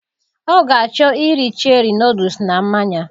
Ọ ga achọ iri cherie nọdles na mmanya